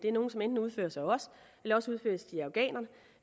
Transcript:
er nogle som enten udføres af os eller også udføres de af afghanerne